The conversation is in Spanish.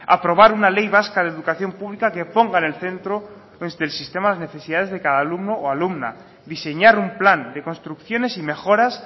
aprobar una ley vasca de educación pública que ponga en el centro desde el sistema las necesidades de cada alumno o alumna diseñar un plan de construcciones y mejoras